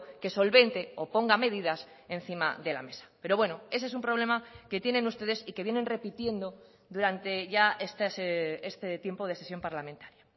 que solvente o ponga medidas encima de la mesa pero bueno ese es un problema que tienen ustedes y que vienen repitiendo durante ya este tiempo de sesión parlamentaria